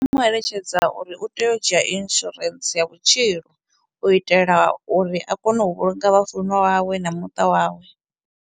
Mu eletshedza uri u tea u dzhia insurance ya vhutshilo u itela uri a kone u vhulunga vhafunwa wawe na muṱa wawe.